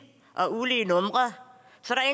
og ulige numre